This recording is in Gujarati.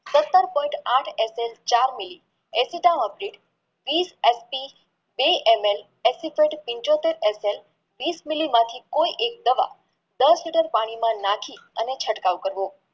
સત્તર point આઠ SM ચાર mili એસિટન આપ્યું વિસ ST વિષ મિલી માંથી કોઈ એક દવા દસ liter પાણીમાં નાખી એનો ચટકાવ કરવો